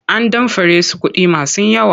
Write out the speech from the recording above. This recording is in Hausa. An damfare su kuɗi masu yawa.